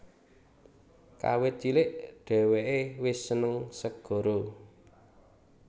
Kawit cilik dheweke wis seneng segara